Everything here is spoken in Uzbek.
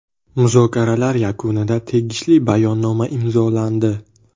Muzokaralar yakunida tegishli bayonnoma imzolandi.